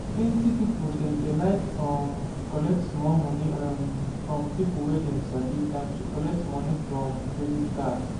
plenty people dem dey like um collect small moni um from people wey dem sabi than to collect moni from credit card